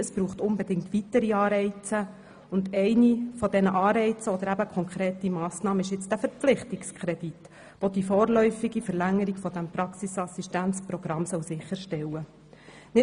Es braucht unbedingt weitere Anreize, und einer dieser Anreize oder eben konkreten Massnahmen ist der vorliegende Verpflichtungskredit, der die vorläufige Verlängerung des Praxisassistenzprogramms sicherstellen soll.